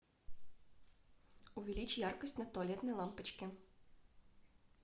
увеличь яркость на туалетной лампочке